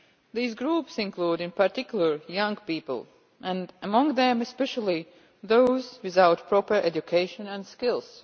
These groups include, in particular, young people, and among them especially those without proper education and skills.